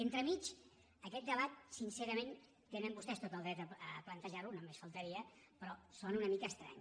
entremig aquest debat sincerament tenen vostès tot el dret a plantejarlo només faltaria però sona una mica estrany